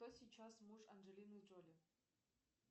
кто сейчас муж анджелины джоли